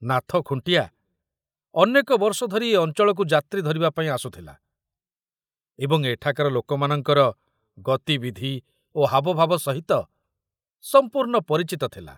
ନାଥ ଖୁଣ୍ଟିଆ ଅନେକ ବର୍ଷ ଧରି ଏ ଅଞ୍ଚଳକୁ ଯାତ୍ରୀ ଧରିବାପାଇଁ ଆସୁଥିଲା ଏବଂ ଏଠାକାର ଲୋକମାନଙ୍କର ଗତିବିଧି ଓ ହାବଭାବ ସହିତ ସମ୍ପୂର୍ଣ୍ଣ ପରିଚିତ ଥିଲା।